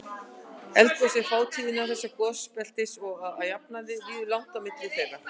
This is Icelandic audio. Eldgos eru fátíð innan þessa gosbeltis og að jafnaði líður langt á milli þeirra.